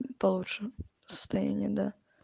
получше состояние да